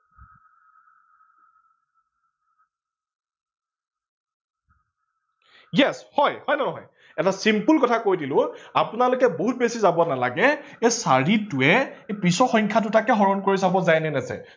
yes হয়। হয় নে নহয়, এটা simple কথা কৈ দিলো আপোনালোকে বহুত বেছি যাব নালাগে এই চাৰিটোৱে পিছৰ সংখ্যাদুটাকে হৰন কৰি চাব যায় নে নাযায়